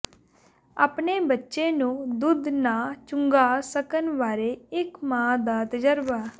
ਆਪਣੇ ਬੱਚੇ ਨੂੰ ਦੁੱਧ ਨਾ ਚੁੰਘਾ ਸਕਣ ਬਾਰੇ ਇੱਕ ਮਾਂ ਦਾ ਤਜ਼ਰਬਾ